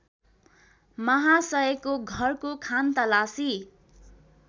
माहासयको घरको खानतलासी